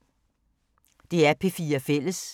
DR P4 Fælles